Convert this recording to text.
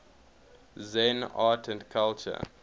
zen art and culture